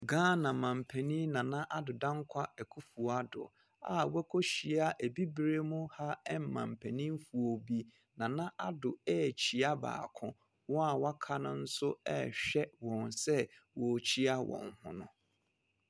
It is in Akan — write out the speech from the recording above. Ghana mampanin Nana Addo Dankwa Akuffo-Addo a wakɔhyia Abibire mu ha mampanimfoɔ bi. Nana Addo rekyea baako. Wɔn a wɔaka no nso rehwɛ wɔn sɛ wɔrekyea wɔn ho no.